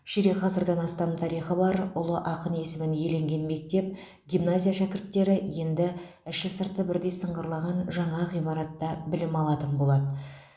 ширек ғасырдан астам тарихы бар ұлы ақын есімін иеленген мектеп гимназия шәкірттері енді іші сырты бірдей сыңғырлаған жаңа ғимаратта білім алатын болады